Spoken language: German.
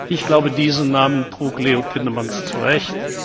Ich glaube, diesen Namen trug Leo Tindemans zu Recht.